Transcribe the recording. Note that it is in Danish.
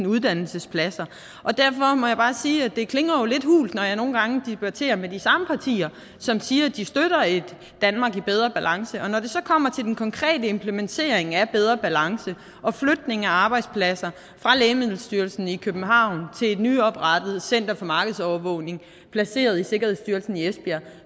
uddannelsespladser derfor må jeg bare sige at det jo klinger lidt hult når jeg nogle gange debatterer med de samme partier som siger at de støtter et danmark i bedre balance men når det så kommer til den konkrete implementering af bedre balance og flytning af arbejdspladser fra lægemiddelstyrelsen i københavn til et nyoprettet center for markedsovervågning placeret i sikkerhedsstyrelsen i esbjerg